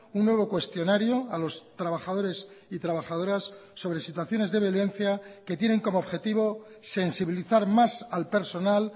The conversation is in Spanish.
un nuevo cuestionario a los trabajadores y trabajadoras sobre situaciones de violencia que tienen como objetivo sensibilizar más al personal